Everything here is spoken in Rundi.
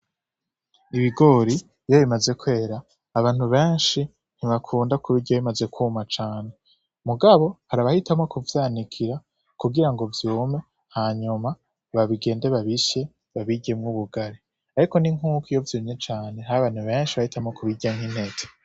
Ibigori, iyo bimaze kwera, abantu benshi ntibakunda kubirya bimaze kuma cane. Mugabo hari abahitamwo kuvyanikira kugira ngo vyume hanyuma bagende babisye babiryemwo ubugari. Ariko ni nkuko iyo vyumye cane hari abantu benshi bahitamwo kubirya nk'intete.